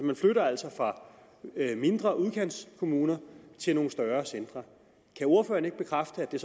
man flytter altså fra mindre udkantskommuner til nogle større centre kan ordføreren ikke bekræfte at det